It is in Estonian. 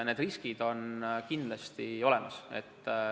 Need riskid on kindlasti olemas.